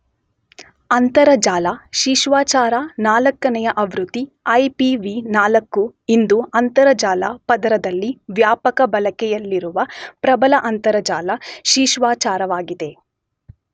ಅಂತರಜಾಲ ಶಿಷ್ಟಾಚಾರ ನಾಲ್ಕನೆಯ ಆವೃತ್ತಿ ಐಪಿವಿ4 ಇಂದು ಅಂತರಜಾಲ ಪದರದಲ್ಲಿ ವ್ಯಾಪಕ ಬಳಕೆಯಲ್ಲಿರುವ ಪ್ರಬಲ ಅಂತರಜಾಲ ಶಿಷ್ಟಾಚಾರವಾಗಿದೆ.